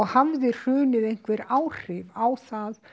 hafði hrunið einhver áhrif á